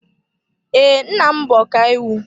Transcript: Ee, nna m bụ ọkàiwu.